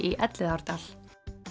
í Elliðaárdal